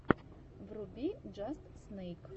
вруби джаст снэйк